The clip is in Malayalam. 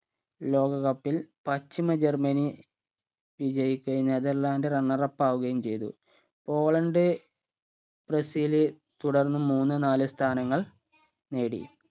ലോക cup ൽ പശ്ചിമ ജർമനി വിജയിച്ചേന് അതല്ലാണ്ട്‌ runner up ആവുകയും ചെയ്തു പോളണ്ട് ബ്രസീൽ തുടർന്ന് മൂന്ന് നാല് സ്ഥാനങ്ങൾ നേടി